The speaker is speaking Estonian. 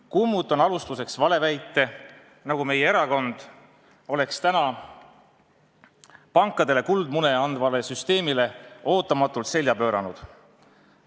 Kummutan alustuseks valeväite, nagu meie erakond oleks täna pankadele kuldmune andvale süsteemile ootamatult selja pööranud.